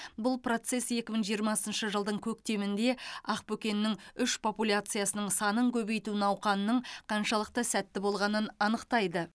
бұл процесс екі мың жиырмасыншы жылдың көктемінде ақбөкеннің үш популяциясының санын көбейту науқанының қаншалықты сәтті болғанын анықтайды